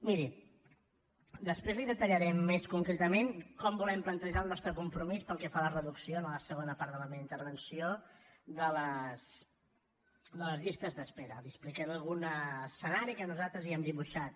miri després li detallarem més concretament com volem plantejar el nostre compromís pel que fa a la reducció en la segona part de la meva intervenció de les llistes d’espera li explicaré algun escenari que nosaltres hi hem dibuixat